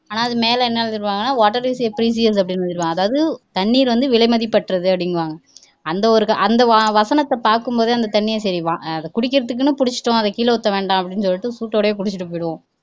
ஆனா அது மேல என்ன எழுதி இருப்பாங்க water is a precious அப்படின்னு எழுதி இருப்பாங்க அதாவது தண்ணீர் வந்து விலைமதிப்பற்றது அப்படின்னு அந்த ஒரு அந்த வசனத்தை பாக்கும்போதே அந்த தண்ணியை சரி குடிக்கிறதுக்குன்னு புடிச்சுட்டோம் அதை கீழ ஊத்த வேண்டாம் அப்படின்னு சொல்லிட்டு சூட்டோடையே குடிச்சுட்டு போயிருவோம்